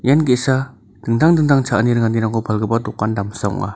ian ge·sa dingtang dingtang cha·ani ringanirangko palgipa dokan damsa ong·a.